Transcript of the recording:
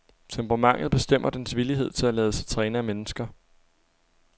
Temperamentet bestemmer dens villighed til at lade sig træne af mennesker.